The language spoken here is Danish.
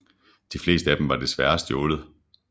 De fleste af dem er desværre stjålet